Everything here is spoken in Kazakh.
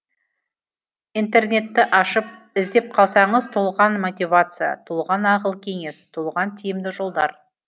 интернетті ашып іздеп қалсаңыз толған мотивация толған ақыл кеңес толған тиімді жолдар